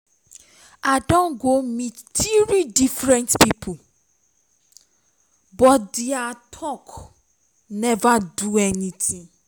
i don go meet three different people but all dia talk never do me anything